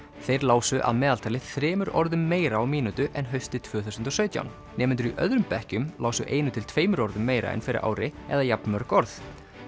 þeir lásu að meðaltali þremur orðum meira á mínútu en haustið tvö þúsund og sautján nemendur í öðrum bekkjum lásu einu til tveimur orðum meira en fyrir ári eða jafnmörg orð